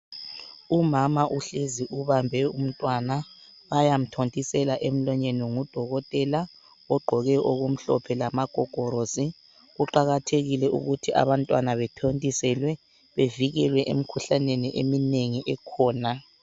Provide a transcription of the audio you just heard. Umama uhlezi ubambe umntwana. Bayamthontisela emlonyeni ngudokotela ogqoke okumhlophe lama gogolosi. Kuqakathekile ukuthi abantwana bethontiselwe bevikelwe emikhuhlaneni eminengi ekhona.